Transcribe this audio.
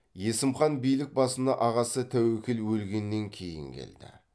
есім хан билік басына ағасы тәуекел өлгеннен кейін келді